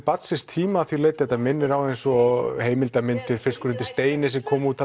barn síns tíma að því leyti að þetta minnir á eins og heimildamyndina fiskur undir Steini sem kom út